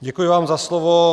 Děkuji vám za slovo.